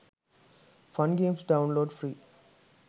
fun games download free